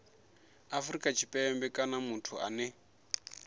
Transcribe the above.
afrika tshipembe kana muthu ane